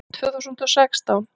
Tvö þúsund og sextán